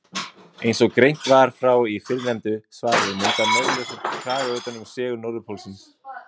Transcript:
Eins og greint var frá í fyrrnefndu svari mynda norðurljósin kraga utan um segul-norðurpólinn.